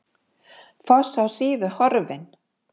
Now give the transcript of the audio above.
Foss á Síðu horfinn